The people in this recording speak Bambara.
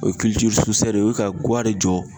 O ye de ye .O ye ka guwa de jɔ